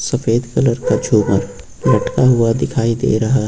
सफेद कलर का झूमर लटका हुआ दिखाई दे रहा हैं।